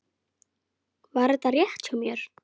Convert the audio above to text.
Var þetta rétt hjá mér?